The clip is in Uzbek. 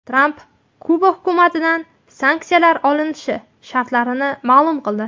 Tramp Kuba hukumatidan sanksiyalar olinishi shartlarini ma’lum qildi.